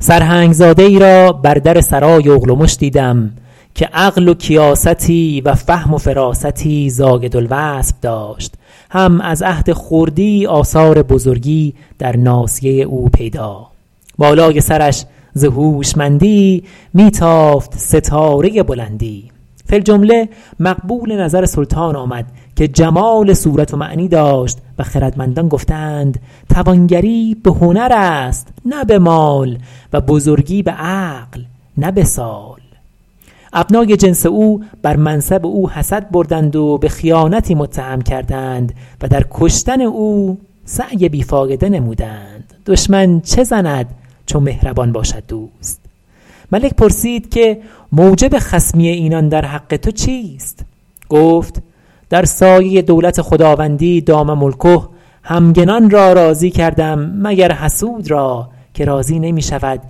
سرهنگ زاده ای را بر در سرای اغلمش دیدم که عقل و کیاستی و فهم و فراستی زاید الوصف داشت هم از عهد خردی آثار بزرگی در ناصیه او پیدا بالای سرش ز هوشمندی می تافت ستاره بلندی فی الجمله مقبول نظر سلطان آمد که جمال صورت و معنی داشت و خردمندان گفته اند توانگری به هنر است نه به مال و بزرگی به عقل نه به سال ابنای جنس او بر منصب او حسد بردند و به خیانتی متهم کردند و در کشتن او سعی بی فایده نمودند دشمن چه زند چو مهربان باشد دوست ملک پرسید که موجب خصمی اینان در حق تو چیست گفت در سایه دولت خداوندی دام ملکه همگنان را راضی کردم مگر حسود را که راضی نمی شود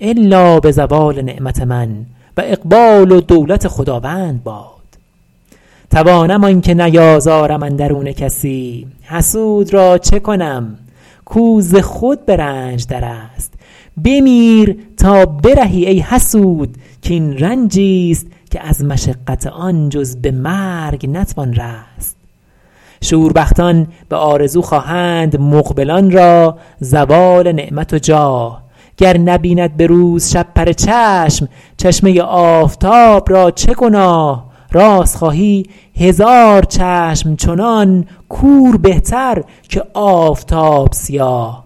الا به زوال نعمت من و اقبال و دولت خداوند باد توانم آنکه نیازارم اندرون کسی حسود را چه کنم کو ز خود به رنج در است بمیر تا برهی ای حسود کاین رنجی ست که از مشقت آن جز به مرگ نتوان رست شوربختان به آرزو خواهند مقبلان را زوال نعمت و جاه گر نبیند به روز شپره چشم چشمه آفتاب را چه گناه راست خواهی هزار چشم چنان کور بهتر که آفتاب سیاه